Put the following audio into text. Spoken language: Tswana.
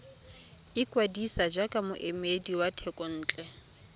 ikwadisa jaaka moemedi wa thekontle